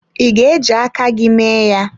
Ị ga-eji aka gị mee ya?